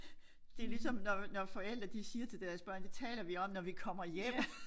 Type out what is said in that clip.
Det ligesom når når forældre de siger til deres børn det taler vi om når vi kommer hjem